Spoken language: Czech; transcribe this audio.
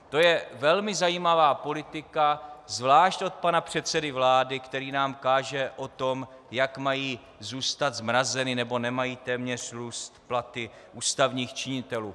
To je velmi zajímavá politika, zvláště od pana předsedy vlády, který nám káže o tom, jak mají zůstat zmrazeny, nebo nemají téměř růst platy ústavních činitelů.